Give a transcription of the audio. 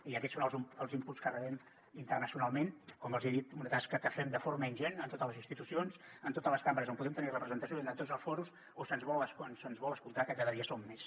i aquests són els inputscom els he dit una tasca que fem de forma ingent en totes les institucions en totes les cambres on podem tenir representació i en tots els fòrums on se’ns vol escoltar que cada dia són més